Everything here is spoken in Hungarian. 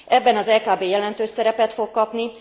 Ebben az EKB jelentős szerepet fog kapni.